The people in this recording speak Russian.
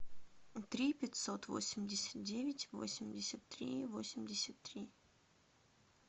три пятьсот восемьдесят девять восемьдесят три восемьдесят три